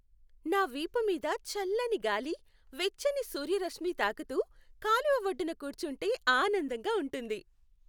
నా వీపు మీద చల్లని గాలి, వెచ్చని సూర్యరశ్మి తాకుతూ, కాలువ ఒడ్డున కూర్చుంటే ఆనందంగా ఉంటుంది.